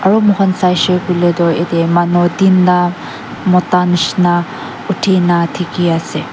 aru moi khan saise koile tu ete manu tinta Mota nishna uthi na dekhi ase.